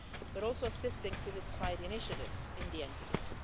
We are also assisting civil society initiatives in the entities.